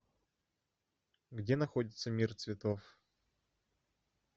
где находится мир цветов